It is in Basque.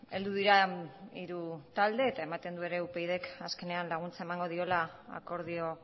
heldu dira hiru talde eta ematen du ere upydk azkenean laguntza emango diola akordio